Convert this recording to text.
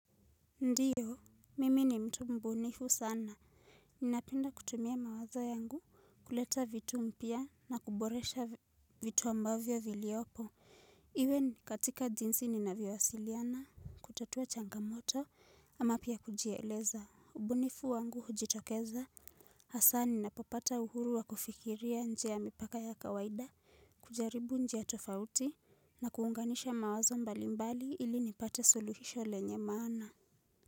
Ndio, mimi ni mtu mbunifu sana. Ninapenda kutumia mawazo yangu kuleta vitu mpya na kuboresha vitu ambavyo viliopo. Iwe katika jinsi ninavyowasiliana, kutatua changamoto, ama pia kujieleza. Ubunifu wangu hujitokeza, hasa ninapopata uhuru wa kufikiria nje ya mipaka ya kawaida, kujaribu njia tofauti na kuunganisha mawazo mbalimbali ili nipate suluhisho lenye maana.